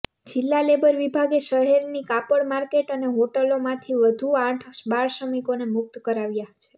જિલ્લા લેબર વિભાગે શહેરની કાપડ માર્કેટ અને હોટલોમાંથી વધુ આઠ બાળશ્રમિકોને મુક્ત કરાવ્યા છે